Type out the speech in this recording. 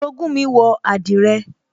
Orogún mi wọ àdìrẹ